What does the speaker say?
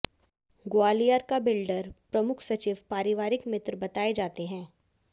ग्वालियर का बिल्डर प्रमुख सचिव पारिवारिक मित्र बताए जाते हैं